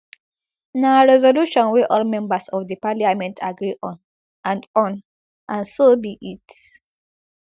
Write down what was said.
na resolution wey all members of di parliament agree on and on and so be it